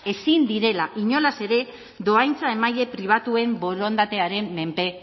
ezin direla inolaz ere dohaintza emaile pribatuen borondatearen menpe